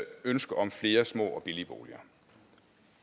ønske om flere små og billige boliger